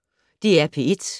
DR P1